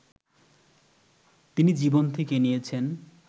তিনি জীবন থেকে নিয়েছেন